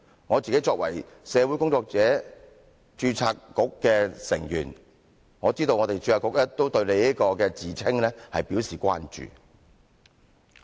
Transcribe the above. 我作為社會工作者註冊局成員，我知道註冊局對你這個自稱表示關注。